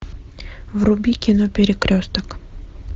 вруби кино перекресток